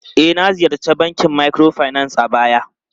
E, na ziyarci bankin microfinance a baya.